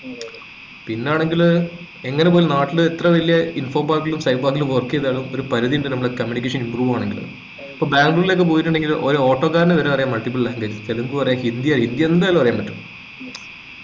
പിന്നാണെങ്കില് എങ്ങനെ പോയി നാട്ടിലെ എത്ര വല്യ info park ലും cyber park ലും work ചെയ്തതാലും ഒരു പരിധി ഉണ്ട് നമ്മുടെ communication improve ആവണെങ്കിൽ ഇപ്പം ബാംഗ്ളൂരിലേക്കോ പോയിട്ടുണ്ടെങ്കിൽ ഒരോട്ടോക്കാരാനുവരെ അറിയ multiple language തെലുങ്കു അറിയ ഹിന്ദി ഹിന്ദിയെന്തായാലും അറിയാൻ പാറ്റും